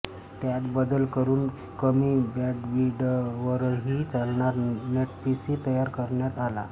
त्यात बदल करून कमी बॅंडविडवरही चालणारा नेटपीसी तयार करण्यात आला